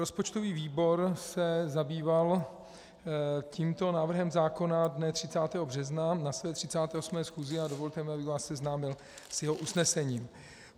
Rozpočtový výbor se zabýval tímto návrhem zákona dne 30. března na své 38. schůzi a dovolte mi, abych vás seznámil s jeho usnesením: